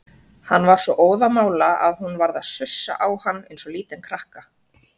Hann var svo óðamála að hún varð að sussa á hann eins og lítinn krakka.